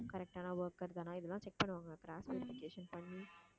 correct ஆன worker தானா இதெல்லாம் check பண்ணுவாங்க cross verification பண்ணி